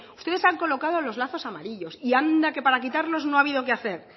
ustedes han colocado los lazos amarillos y anda que para quitarlos no ha habido que hacer